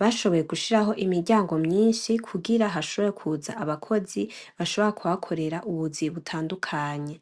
bashoboye gushirako imiryango myinshi kugira hashobore kuza abakozi bashobora kuhakorera ubuzi butandukanye.